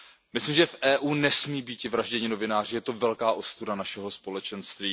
Myslím si, že v Evropské unii nesmí být vražděni novináři, je to velká ostuda našeho společenství.